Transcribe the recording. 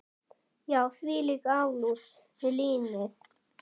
Já, þvílík alúð við línið.